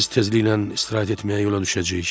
Biz təzliklə istirahət etməyə yola düşəcəyik.